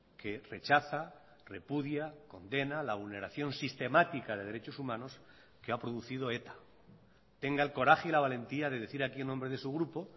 que rechaza repudia condena la vulneración sistemática de derechos humanos que ha producido eta tenga el coraje y la valentía de decir aquí en nombre de su grupo